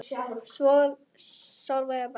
Sólveig og Bjarni.